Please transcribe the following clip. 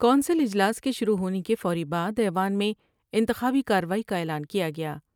Council اجلاس کے شروع ہونے کے فوری بعد ایوان میں انتخابی کاروائی کا اعلان کیا گیا۔